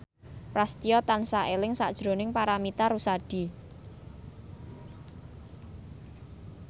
Prasetyo tansah eling sakjroning Paramitha Rusady